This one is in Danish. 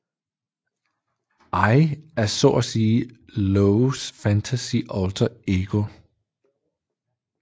Ai er så at sige Loves fantasy alter ego